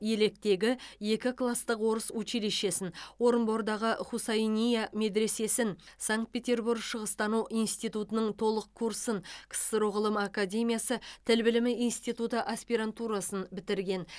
електегі екі кластық орыс училищесін орынбордағы хусайния медресесін санкт петербург шығыстану институтының толық курсын ксро ғылым академиясы тіл білімі институты аспирантурасын бітірген